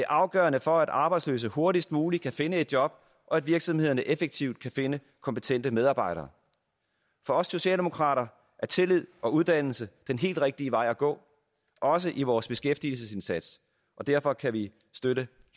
afgørende for at arbejdsløse hurtigst muligt kan finde et job og at virksomhederne effektivt kan finde kompetente medarbejdere for os socialdemokrater er tillid og uddannelse den helt rigtige vej at gå også i vores beskæftigelsesindsats og derfor kan vi støtte